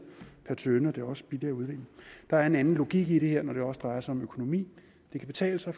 per tønde og det er også billigere at udvinde der er en anden logik i det her når det også drejer sig om økonomi det kan betale sig